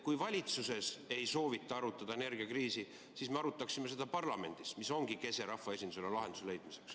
Kui valitsuses ei soovita arutada energiakriisi, siis me arutaksime seda parlamendis, mis ongi rahvaesindusele kese lahenduse leidmiseks.